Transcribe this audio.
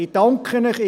Ich danke Ihnen.